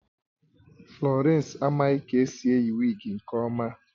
Florence amaghị ka esi eyi wigi nke ọma